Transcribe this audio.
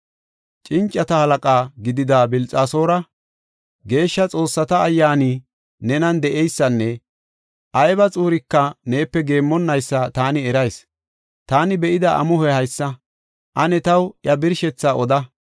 Cincata halaqa gidida Bilxasoora, geeshsha xoossata ayyaani nenan de7eysanne ayba xuurika neepe geemmonaysa taani erayis. Taani be7ida amuhoy haysa; ane taw iya birshetha oda.